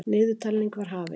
Niðurtalningin var hafin.